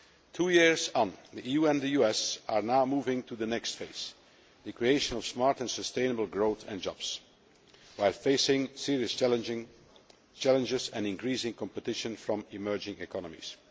Two years on, the EU and the US are now moving towards the next phase the creation of smart and sustainable growth and jobs while facing serious challenges and increasing competition from emerging economies.